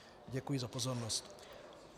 Děkuji za pozornost.